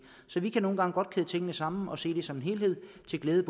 så vi kan nogle gange godt kæde tingene sammen og se det som en helhed til glæde